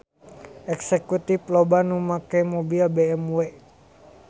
Eksekutif loba nu make mobil BMW